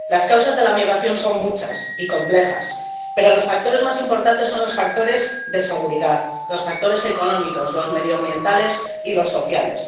Las causas de la migración son muchas y complejas, pero los factores más importantes son los factores de seguridad, los factores económicos, los medioambientales y los sociales.